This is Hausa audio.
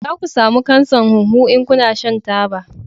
Za ka samu kansan huhu in kana shan taba